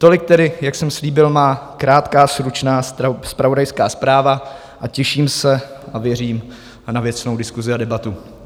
Tolik tedy, jak jsem slíbil, má krátká stručná zpravodajská zpráva a těším se a věřím na věcnou diskusi a debatu.